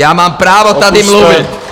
Já mám právo tady mluvit!